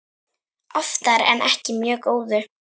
Oftar en ekki mjög góðu.